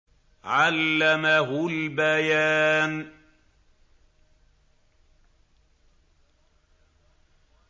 عَلَّمَهُ الْبَيَانَ